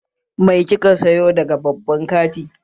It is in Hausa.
Me kika sayo daga babban kanti?